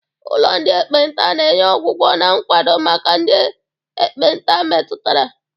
Ụlọ ndị ekpenta na-enye ọgwụgwọ na nkwado maka ndị ekpenta metụtara.